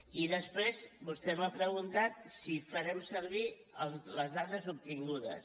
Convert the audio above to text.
i després vostè m’ha preguntat si farem servir les dades obtingudes